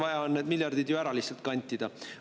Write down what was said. Vaja on ju need miljardid ju ära lihtsalt kantida.